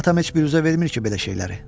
Atam heç bir bürüzə vermir ki, belə şeyləri.